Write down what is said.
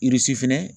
fɛnɛ